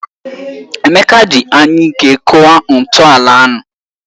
Emeka ji anyụike kụwa ntọala ahụ.